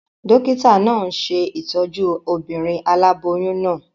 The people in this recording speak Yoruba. Dókítà náà n ṣe ìtọ́jú obìnrin aláboyún náà